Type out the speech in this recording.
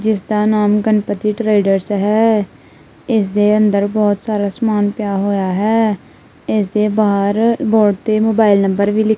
ਜਿੱਸ ਦਾ ਨਾਮ ਗਨਪਤੀ ਟ੍ਰੇਡਰਸ ਹੈ ਇੱਸ ਦੇ ਅੰਦਰ ਬੋਹਤ ਸਾਰਾ ਸਮਾਨ ਪਿਆ ਹੋਇਆ ਹੈ ਇੱਸ ਦੇ ਬਾਹਰ ਬੋਰਡ ਤੇ ਮੋਬਾਇਲ ਨੰਬਰ ਵੀ ਲਿੱਖ--